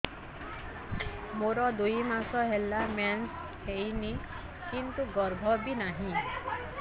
ମୋର ଦୁଇ ମାସ ହେଲା ମେନ୍ସ ହେଇନି କିନ୍ତୁ ଗର୍ଭ ବି ନାହିଁ